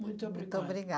Muito obrigado. Muito